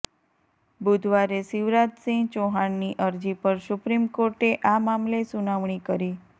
બુધવારે શિવરાજ સિંહ ચૌહાણની અરજી પર સુપ્રીમ કોર્ટે આ મામલે સુનાવણી કરી